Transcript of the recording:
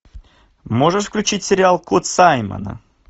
можешь включить сериал код саймона